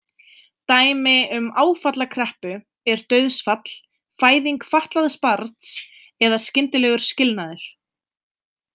Dæmi um áfallakreppu er dauðsfall, fæðing fatlaðs barns eða skyndilegur skilnaður.